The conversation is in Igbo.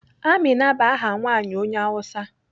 Amina bụ aha nwaanyị onye Awụsa.